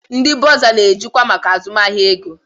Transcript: Ndị bọrzà na-ejikwa azụmahịa ego.